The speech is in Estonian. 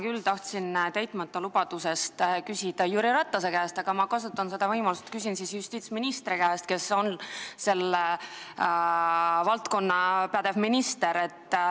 Ma küll tahtsin täitmata lubaduse kohta küsida Jüri Ratase käest, aga kasutan nüüd võimalust ja küsin justiitsministri käest, kes on selle valdkonna pädev minister.